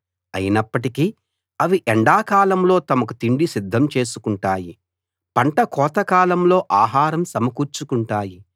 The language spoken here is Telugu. అయినప్పటికీ అవి ఎండాకాలంలో తమకు తిండి సిద్ధం చేసుకుంటాయి పంట కోత కాలంలో ఆహారం సమకూర్చుకుంటాయి